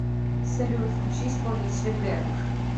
салют включи исполнителя гэнк